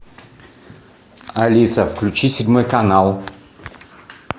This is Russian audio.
алиса включи седьмой канал